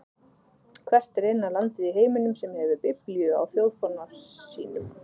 Hvert er eina landið í heiminum sem hefur biblíu á þjóðfána sínum?